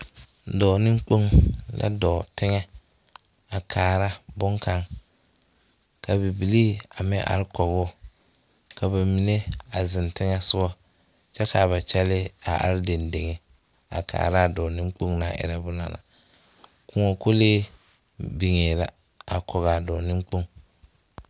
Dɔɔ neŋkooŋ la dɔɔ teŋɛ a kaara boŋkaŋ. Ka bibilii a meŋ ar kɔgoo, ka ba mine a zeŋ teŋɛ soɔ. Kyɛ kaa ba kyɛlee a ar dendeŋa a kaaraa dɔɔ neŋkpoŋ naŋ erɛ bona na. Kõɔ kolee biŋee la a kɔgaa dɔɔ neŋkpoŋ.